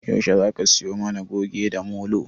Yaushe Zaka siyo mana Goge da Molo?